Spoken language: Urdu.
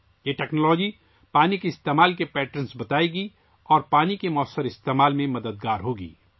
یہ ٹیکنالوجی پانی کے استعمال کے نمونے بتائے گی اور پانی کے موثر استعمال میں مدد کرے گی